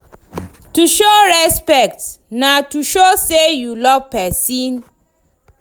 To show respect na way to show say you love persin